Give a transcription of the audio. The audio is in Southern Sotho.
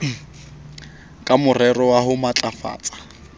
ka morero wa ho matlafatsa